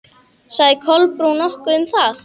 Sagði Kolbrún nokkuð um það?